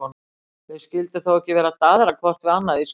Þau skyldu þó ekki vera að daðra hvort við annað í skúmaskoti?